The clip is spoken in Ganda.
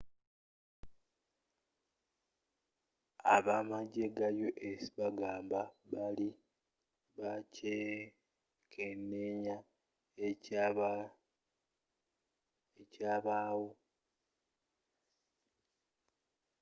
abamajje ga us bagamba bali bakyekeneenya ekyabaawo